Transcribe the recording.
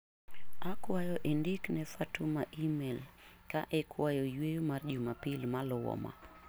Akwayo indik ne Fatuma imel ka ikwayo yueyo mar juma pil maluwo ma.